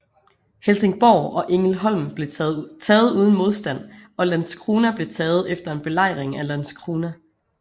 Helsingborg og Ängelholm blev taget uden modstand og Landskrona blev taget efter en belejring af Landskrona